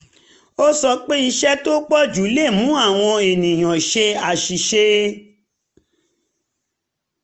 ó sọ pé iṣẹ́ tó pọ̀ jù lè mú àwọn ènìyàn ṣe àṣìṣe